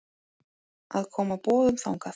að koma boðum þangað.